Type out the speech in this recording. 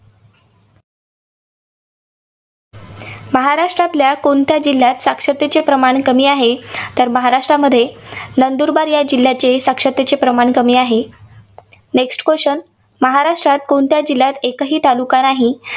महाराष्ट्रातल्या कोणत्या जिल्ह्यात साक्षरतेचे प्रमाण कमी आहे. तर महाराष्ट्रामध्ये नंदुरबार या जिल्ह्याचे साक्षरतेचे प्रमाण कमी आहे. Next question महाराष्ट्रात कोणत्या जिल्ह्यात एकही तालुका नाही?